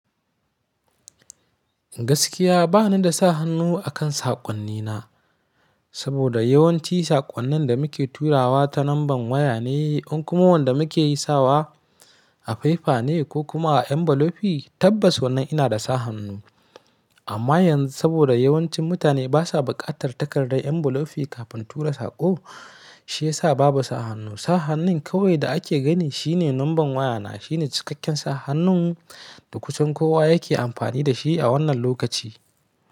Gaskiya ba ni da sa hannu akan saƙon nina, saboda yawanci saƙonnin da muke turawa ta lamban waya ne, in kuma wanda muke yi sawa a fefa ne ko kuma a ƴan bulofi, tabbas wannan ina da sa hannu. Amma yanzu saboda yawancin mutane ba sa bukatar takardar enbulofi kafin tura saƙo, shi ya sa babu sa hannu. Sa hannun kawai da ake gani shi ne lamban waya na, shi ne cikakken sa hannun da kusan kowa yake amfani da shi a wannan lokaci.